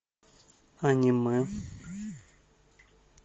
аниме